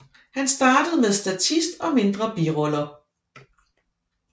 Han startede med statist og mindre biroller